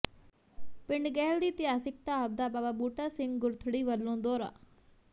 ਪਿੰਡ ਗਹਿਲ ਦੀ ਇਤਿਹਾਸਿਕ ਢਾਬ ਦਾ ਬਾਬਾ ਬੂਟਾ ਸਿੰਘ ਗੁਰਥੜੀ ਵੱਲੋਂ ਦੌਰਾ